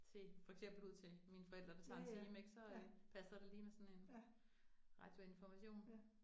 Til for eksempel ud til mine forældre, der tager en time ik, så øh passer det lige med sådan en Radio Information